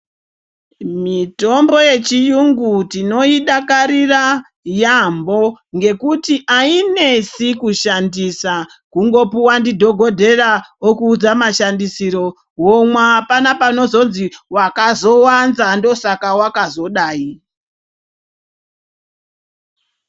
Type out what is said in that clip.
Mitombo yechirungu tinoidakarira yaambo ngekuti ainesi kushandisa .Kungopuwa ndidhokodheya okuudza mashandisiro womwa .Apana pakazozi wakazowanza ndosaka wakazodai.